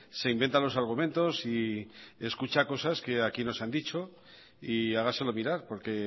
se inventa los argumentos y escucha cosas que aquí no se han dicho y hágaselo mirar porque